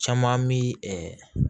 Caman mi